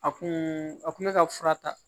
A kun a kun bɛ ka fura ta